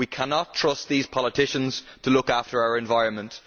We cannot trust these politicians to look after our environment.